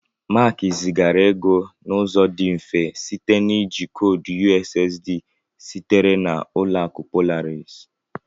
Mark zigara ego n'ụzọ dị mfe site na iji koodu USSD sitere na Ụlọakụ Polaris